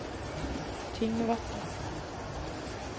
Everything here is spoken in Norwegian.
Tingvatn